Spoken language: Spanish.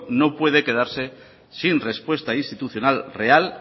no puede quedarse sin respuesta institucional real